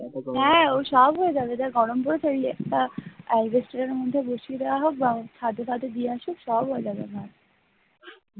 হ্যাঁ, ওসব হয়ে যাবে যা গরম পড়েছে